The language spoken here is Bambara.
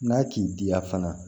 N'a k'i diya fana